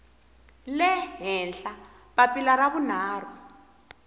le henhla papila ra vunharhu